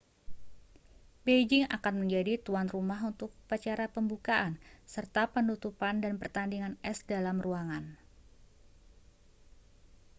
beijing akan menjadi tuan rumah untuk upacara pembukaan serta penutupan dan pertandingan es dalam ruangan